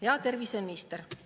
Hea terviseminister!